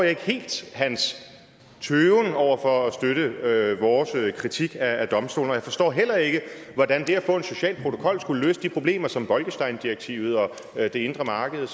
ikke helt hans tøven over for at støtte vores kritik af domstolen jeg forstår heller ikke hvordan det at få en social protokol skulle løse de problemer som bolkesteindirektivet og det indre marked